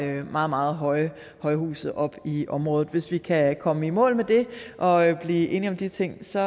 nogle meget meget høje højhuse op i området hvis vi kan komme i mål med det og blive enige om de ting så